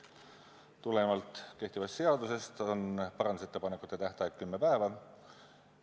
Tulenevalt kehtivast seadusest on parandusettepanekute tähtaeg kümme päeva.